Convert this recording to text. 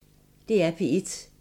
DR P1